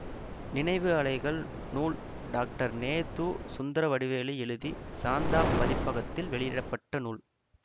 நினைவு அலைகள் நூல் டாக்டர் நெ து சுந்தரவடிவேலு எழுதி சாந்தா பதிப்பகத்தில் வெளியிட பட்ட நூல்